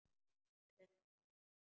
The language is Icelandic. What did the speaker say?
Klukkan er orðin margt.